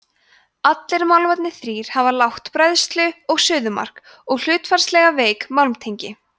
allir málmarnir þrír hafa lágt bræðslu og suðumark og hlutfallslega veik málmtengi